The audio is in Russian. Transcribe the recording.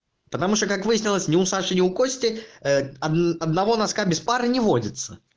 потому что как выяснилось не у саши у кости одного носка без пары не водится